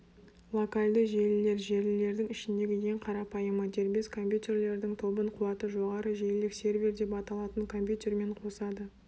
локальды желілер желілердің ішіндегі ең қарапайымы дербес компьютерлердің тобын қуаты жоғары желілік сервер деп аталатын компьютермен қосады